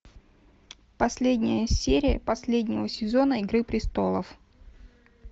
последняя серия последнего сезона игры престолов